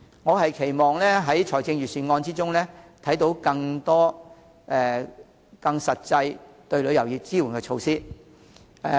我期望在財政預算案中看到更多更實際支援旅遊業的措施。